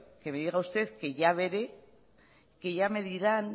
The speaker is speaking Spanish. que me diga usted que ya veré que ya me dirán